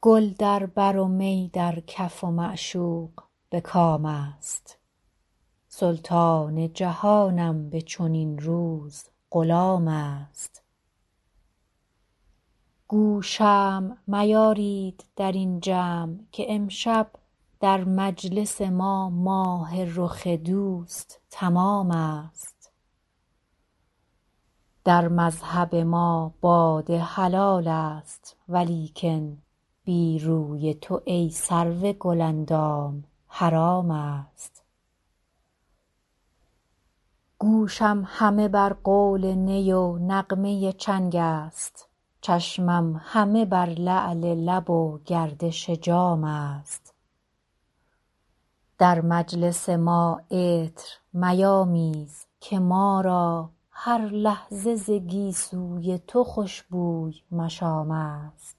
گل در بر و می در کف و معشوق به کام است سلطان جهانم به چنین روز غلام است گو شمع میارید در این جمع که امشب در مجلس ما ماه رخ دوست تمام است در مذهب ما باده حلال است ولیکن بی روی تو ای سرو گل اندام حرام است گوشم همه بر قول نی و نغمه چنگ است چشمم همه بر لعل لب و گردش جام است در مجلس ما عطر میامیز که ما را هر لحظه ز گیسو ی تو خوش بوی مشام است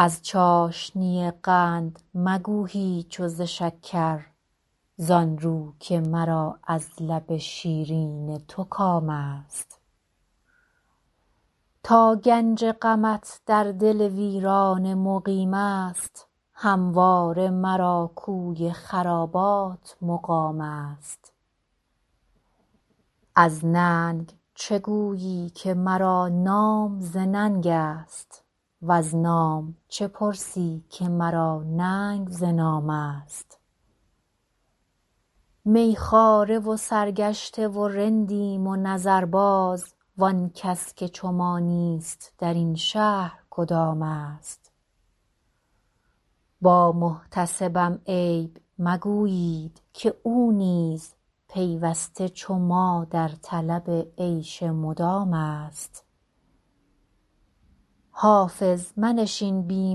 از چاشنی قند مگو هیچ و ز شکر زآن رو که مرا از لب شیرین تو کام است تا گنج غمت در دل ویرانه مقیم است همواره مرا کوی خرابات مقام است از ننگ چه گویی که مرا نام ز ننگ است وز نام چه پرسی که مرا ننگ ز نام است می خواره و سرگشته و رندیم و نظرباز وآن کس که چو ما نیست در این شهر کدام است با محتسبم عیب مگویید که او نیز پیوسته چو ما در طلب عیش مدام است حافظ منشین بی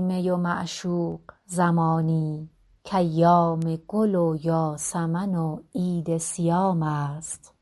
می و معشوق زمانی کایام گل و یاسمن و عید صیام است